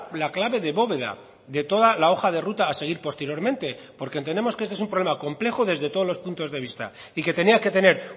la clave de bóveda de toda la hoja de ruta a seguir posteriormente porque entendemos que este es un problema complejo desde todos los puntos de vista y que tenía que tener